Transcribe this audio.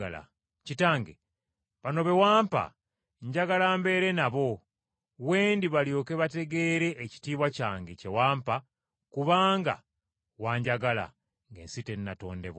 “Kitange, bano be wampa njagala mbeere nabo we ndi balyoke bategeere ekitiibwa kyange kye wampa kubanga wanjagala, ng’ensi tennatondebwa.